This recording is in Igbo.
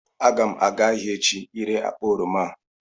Aga m aga ahịa echi ire akpa oroma a